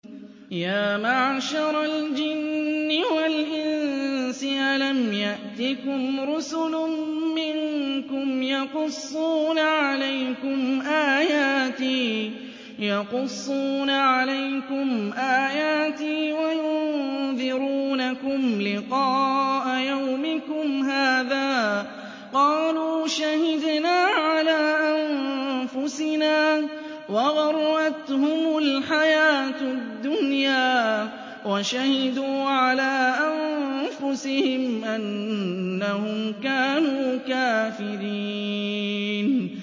يَا مَعْشَرَ الْجِنِّ وَالْإِنسِ أَلَمْ يَأْتِكُمْ رُسُلٌ مِّنكُمْ يَقُصُّونَ عَلَيْكُمْ آيَاتِي وَيُنذِرُونَكُمْ لِقَاءَ يَوْمِكُمْ هَٰذَا ۚ قَالُوا شَهِدْنَا عَلَىٰ أَنفُسِنَا ۖ وَغَرَّتْهُمُ الْحَيَاةُ الدُّنْيَا وَشَهِدُوا عَلَىٰ أَنفُسِهِمْ أَنَّهُمْ كَانُوا كَافِرِينَ